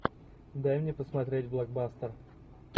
дай мне посмотреть блокбастер